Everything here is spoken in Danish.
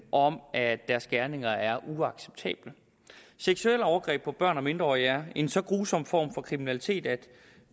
om at deres gerninger er uacceptable seksuelle overgreb mod børn og mindreårige er en så grusom form for kriminalitet at